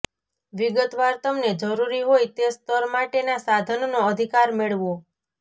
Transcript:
વિગતવાર તમને જરૂરી હોય તે સ્તર માટેના સાધનનો અધિકાર મેળવો